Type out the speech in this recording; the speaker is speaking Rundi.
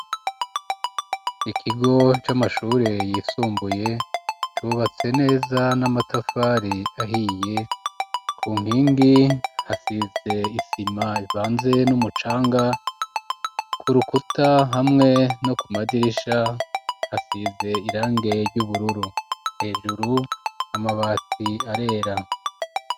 Ikigo c'amashure yisumbuye cubatse neza n'amatafari ahiye ku nkingi hasize isima ivanze n'umucanga ku rukuta hamwe no ku madirisha hasize irangi ry'ubururu hejuru amabati arera.